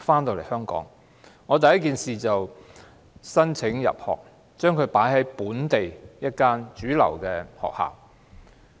我回港後第一件事是為他申請入讀本地主流學校。